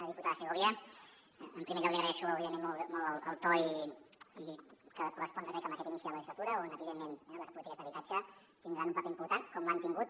diputada segovia en primer lloc li agraeixo òbviament molt el to que ha de correspondre crec a aquest inici de legislatura on evidentment eh les polítiques d’habitatge tindran un paper important com l’han tingut